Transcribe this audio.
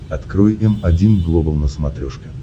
открой м один глобал на смотрешке